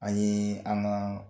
An yee an ŋaa